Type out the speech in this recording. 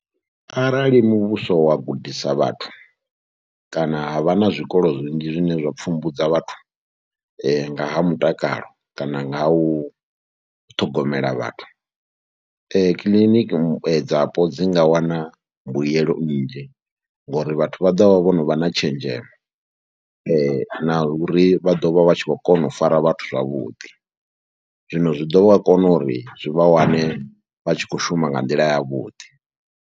Arali muvhuso wa gudisa vhathu kana ha vha na zwikolo zwinzhi zwine zwa pfhumbudza vhathu nga ha mutakalo kana nga u ṱhogomela vhathu, kiḽiniki dzapo dzi nga wana mbuyelo nnzhi ngori vhathu vha ḓo vha vho no vha na tshenzhemo na uri vha ḓo vha vha tshi khou kona u fara vhathu zwavhuḓi. Zwino zwi ḓo vha kona uri zwi vha wane vha tshi khou shuma nga nḓila yavhuḓi.